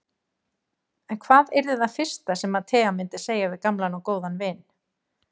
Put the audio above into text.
En hvað yrði það fyrsta sem að Tea myndi segja við gamlan og góðan vin?